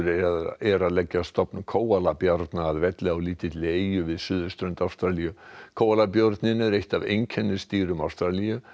er að leggja stofn að velli á lítilli eyju við suðurströnd Ástralíu kóalabjörninn er eitt af einkennisdýrum Ástralíu